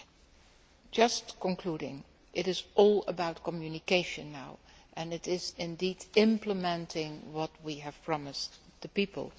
In conclusion, it is all about communication now and it is, indeed, implementing what we have promised the people.